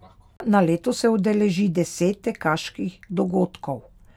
Na leto se udeleži deset tekaških dogodkov.